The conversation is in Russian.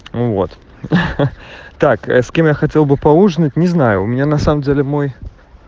ну вот так с кем я хотел бы поужинать не знаю у меня на самом деле мой